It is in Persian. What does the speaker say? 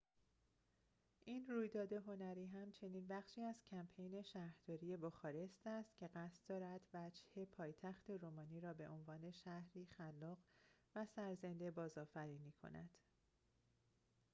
این رویداد هنری همچنین بخشی از کمپین شهرداری بخارست است که قصد دارد وجهه پایتخت رومانی را به عنوان شهری خلاق و سرزنده بازآفرینی کند